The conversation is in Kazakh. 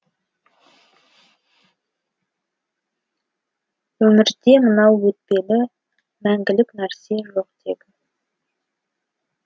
өмірде мынау өтпелі мәңгілік нәрсе жоқ тегі